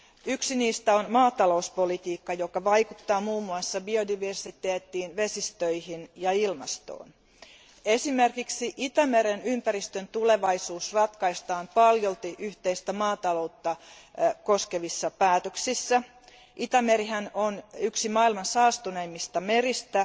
Yksi niistä on maatalouspolitiikka, joka vaikuttaa muun muassa biodiversiteettiin, vesistöihin ja ilmastoon. Esimerkiksi Itämeren ympäristön tulevaisuus ratkaistaan paljolti yhteistä maataloutta koskevissa päätöksissä. Itämerihän on yksi maailman saastuneimmista meristä